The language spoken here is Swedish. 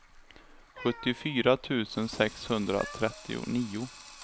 sjuttiofyra tusen sexhundratrettionio